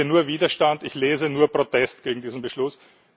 Ich sehe nur Widerstand, ich lese nur Protest gegen diesen Beschluss.